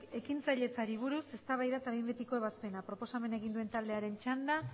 ekintzailetzari buruz eztabaida eta behin betiko ebazpena proposamena egin duen taldearen txanda